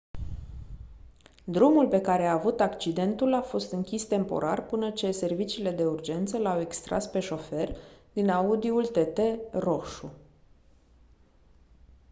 drumul pe care a avut accidentul a fost închis temporar până ce serviciile de urgență l-au extras pe șofer din audi-ul tt roșu